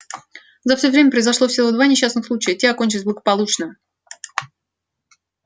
за все время произошло всего два несчастных случая и те окончились благополучно